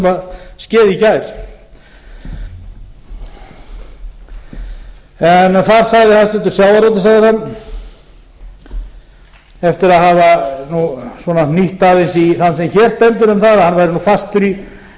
þess sem sagði í gær en þar sagði hæstvirtur sjávarútvegsráðherra eftir að hafa aðeins hnýtt aðeins í þann sem hér stendur um það að hann væri